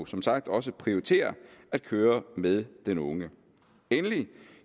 som sagt også prioriterer at køre med den unge endelig